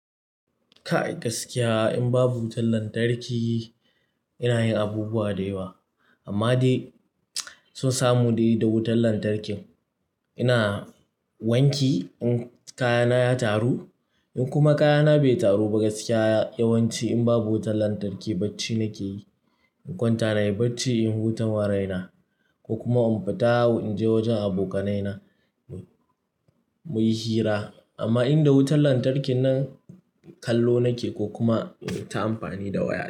Ka ai gaskiya in babu wutar lantarki ina yin abubuwa da yawa amma dai san samu dai da wutar lantarki. Ina wanki in kayana ya taru in kuma kayana bai taru ba gaskiya yawanci in babu wutar lantarki bacci nake yi. In kwanta nayi bacci in wuta wa raina ko kuma in fita in je wajen abokanai na muyi hira. Amma inda wutar lantarkin nan kallo nake ko kuma in ta amfani da waya.